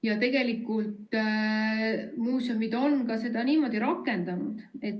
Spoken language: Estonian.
Ja tegelikult muuseumid on ka seda niimoodi rakendanud.